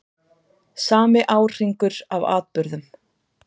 Sami árhringur af atburðum.